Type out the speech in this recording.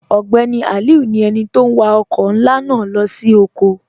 Ogbeni Aliu ni ènì tó n wà ọkọ̀ nlá naa lọ sí ọ̀kọ̀.